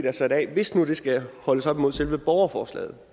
er sat af er hvis nu den skal holdes op imod selve borgerforslaget